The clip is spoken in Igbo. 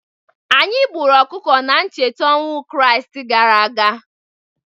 Anyị gburu ọkụkọ na ncheta ọnwụ Kraịstị gara aga.